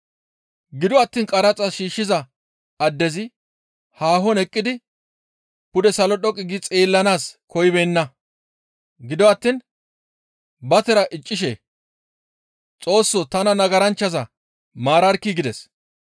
«Gido attiin qaraxa shiishshiza addezi haahon eqqidi pude salo dhoqqu gi xeellanaas koyibeenna; gido attiin ba tira iccishe, ‹Xoossoo! Tana nagaranchchaza maararkkii!› gides.